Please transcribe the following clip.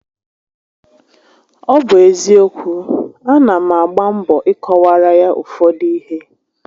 Ọ bụ eziokwu, a na m agba mbọ I kọwaara ya ụfọdụ ihé